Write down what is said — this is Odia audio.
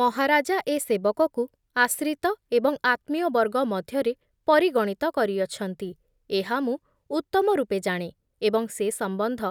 ମହାରାଜା ଏ ସେବକକୁ ଆଶ୍ରିତ ଏବଂ ଆତ୍ମୀୟବର୍ଗ ମଧ୍ୟରେ ପରିଗଣିତ କରିଅଛନ୍ତି ଏହା ମୁଁ ଉତ୍ତମ ରୂପେ ଜାଣେ ଏବଂ ସେ ସମ୍ବନ୍ଧ